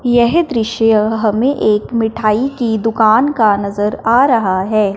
यह दृश्य हमें एक मिठाई की दुकान का नजर आ रहा है।